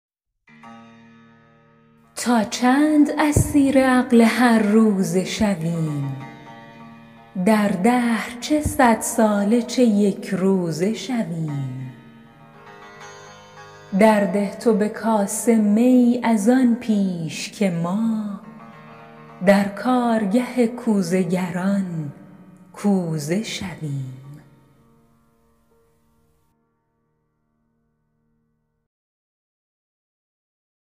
تا چند اسیر عقل هر روزه شویم در دهر چه صد ساله چه یکروزه شویم درده تو به کاسه می از آن پیش که ما در کارگه کوزه گران کوزه شویم